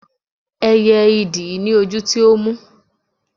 ẹyẹ idì ni ojú tí ó mú